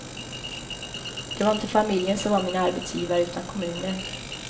Det var inte familjen som var min arbetsgivare utan kommunen.